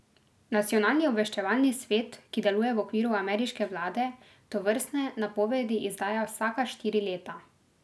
Nacionalni obveščevalni svet, ki deluje v okviru ameriške vlade, tovrstne napovedi izdaja vsaka štiri leta.